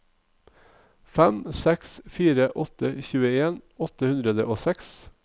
fem seks fire åtte tjueen åtte hundre og seks